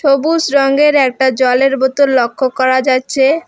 সবুজ রঙের একটা জলের বোতল লক্ষ্য করা যাচ্ছে।